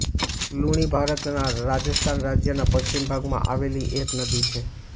લુણી ભારતના રાજસ્થાન રાજ્યના પશ્ચિમ ભાગમાં આવેલી એક નદી છે